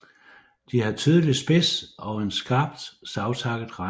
De har tydelig spids og en skarpt savtakket rand